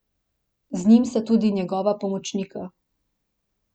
Z njim sta tudi njegova pomočnika.